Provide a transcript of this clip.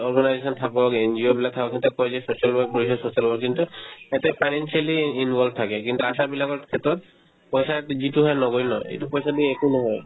organization থাকক NGO বিলাক থাকক তেও কই যে social work কৰিছো social work কিন্তু তাতে financially involve থাকে কিন্তু আশাবিলাকৰ ক্ষেত্ৰত পইচা যিটোহে নগণ্য এইটো পইচা দি একো নহয়